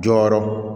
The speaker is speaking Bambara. Jɔyɔrɔ